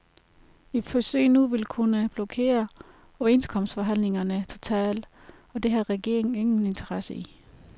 Et forsøg nu vil kunne blokere overenskomstforhandlingerne totalt, og det har regeringen ingen interesse i.